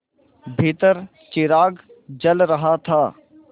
भीतर चिराग जल रहा था